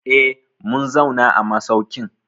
Eh, mun zauna a masaukin.